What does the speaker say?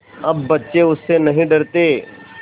अब बच्चे उससे नहीं डरते